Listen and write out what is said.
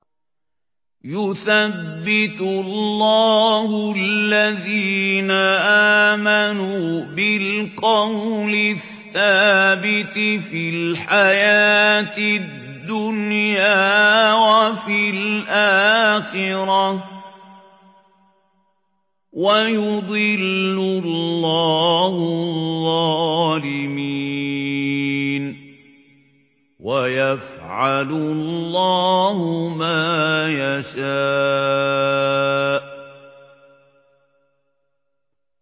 يُثَبِّتُ اللَّهُ الَّذِينَ آمَنُوا بِالْقَوْلِ الثَّابِتِ فِي الْحَيَاةِ الدُّنْيَا وَفِي الْآخِرَةِ ۖ وَيُضِلُّ اللَّهُ الظَّالِمِينَ ۚ وَيَفْعَلُ اللَّهُ مَا يَشَاءُ